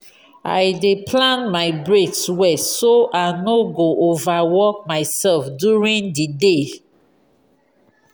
i dey plan my breaks well so i no go overwork myself during di day.